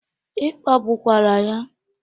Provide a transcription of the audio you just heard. Ị kpagbukwara ya?